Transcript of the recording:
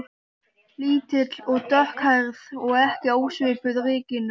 Lítil og dökkhærð og ekki ósvipuð Regínu